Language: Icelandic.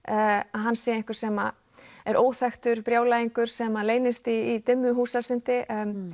hann sé einhver sem er óþekktur brjálæðingur sem leynist í dimmu húsasundi